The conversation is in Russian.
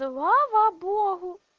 слава богу